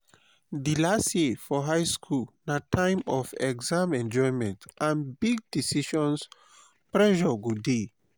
di last year for high school na time of exam enjoyment and big decisions pressure go dey